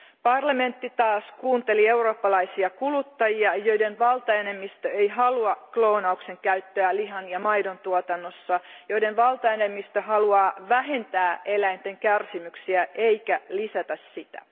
Parlamentti taas kuunteli eurooppalaisia kuluttajia, joiden valtaenemmistö ei halua kloonauksen käyttöä lihan ja maidon tuotannossa, joiden valtaenemmistö haluaa vähentää eläinten kärsimyksiä, eikä lisätä niitä.